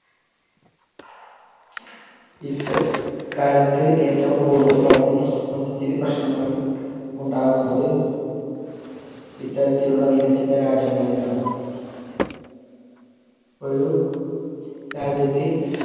ഇക്ക~ഇക്കാലത്ത് ഏറ്റവും കൂടുതൽ പരിസ്ഥിതി പ്രശ്നങ്ങൾ ഉണ്ടാകുന്നത് ഇത്തരത്തിലുള്ള വികസിത രാജ്യങ്ങളിലാണ്. ഒരു രാജ്യത്തെ